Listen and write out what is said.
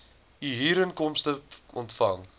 u huurinkomste ontvang